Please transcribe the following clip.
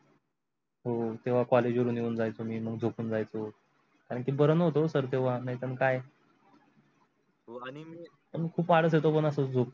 हो तेव्हा college वरून येऊन जायचो मी मग झोपून जायचो कारण की बर नवते ओ sir तेव्हा नाही तर काय पण खूप आळस येत होतो न झोपून.